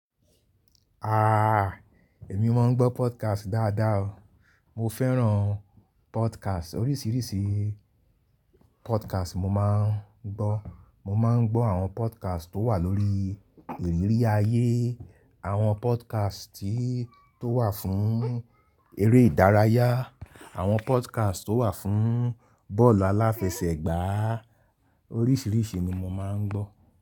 Ah! Èmi máa ń gbọ́ podcast dáadáa o. Mo fẹ́ràn podcast. Oríṣiríṣi podcast mo máa ń gbọ́. Mo máa ń gbọ́ àwọn podcast tó wà lórí ìrírí ayé, àwọn podcast tí tó wà fún eré ìdárayá, àwọn podcast tó wà fún bọ́ọ̀lù aláfẹsẹ̀gbá. Oríṣiríṣi ni mo máa ń gbọ́.